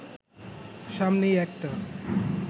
সামনেই একটা